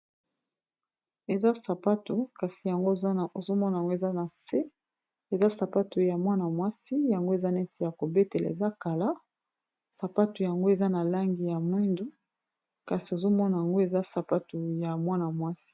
eza sapato kasi ozomona yango eza na se eza sapato ya mwana mwasi yango eza neti ya kobetela eza kala sapato yango eza na langi ya mwindo kasi ozomona yango eza sapato ya mwana mwasi